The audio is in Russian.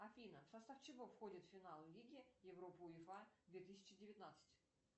афина в состав чего входит финал лиги европы уефа две тысячи девятнадцать